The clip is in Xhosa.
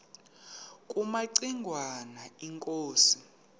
kumaci ngwana inkosi